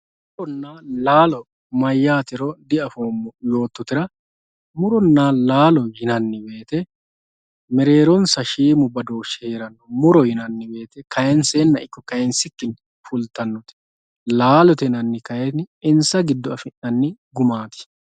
Muronna laalo mayyatero diafoommo yoottotera muronna laalo yinanni woyte mereeronsa shiimu badooshi heeranno muro yinanni woyte kayinsenna ikko kayinsikkinni fultanote laalote yinanniti kayinni insa giddo afi'nanni gumaati.